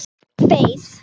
Og beið.